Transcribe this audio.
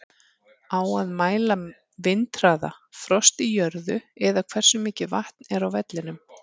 Á að mæla vindhraða, frost í jörðu eða hversu mikið vatn er á vellinum?